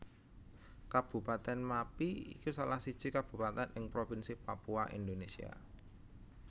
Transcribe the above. Kabupatèn Mappi iku salah siji kabupatèn ing Provinsi Papua Indonésia